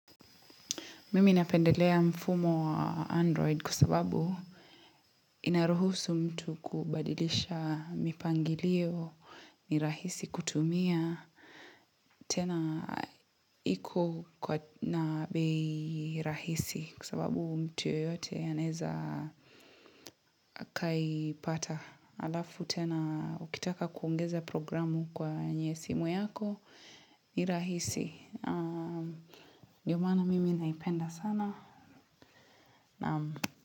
Mimi napendelea mfumo wa Android kwasababu inaruhusu mtu kubadilisha mipangilio, nirahisi kutumia. Tena iko kwa na bei rahisi kwasababu mtu yoyote anaeza akai pata. Alafu tena ukitaka kuongeza programu kwe nye simu yako nirahisi. Ndiomaana mimi naipenda sana.